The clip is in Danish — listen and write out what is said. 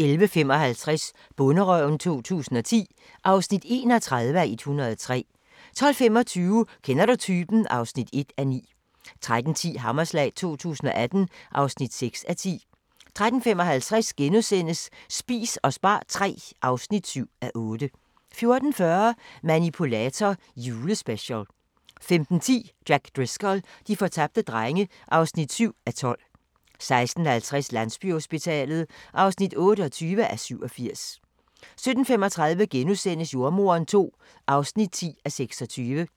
11:55: Bonderøven 2010 (31:103) 12:25: Kender du typen? (1:9) 13:10: Hammerslag 2018 (6:10) 13:55: Spis og spar III (7:8) 14:40: Manipulator – Julespecial 15:10: Jack Driscoll - de fortabte drenge (7:12) 16:50: Landsbyhospitalet (28:87) 17:35: Jordemoderen II (10:26)*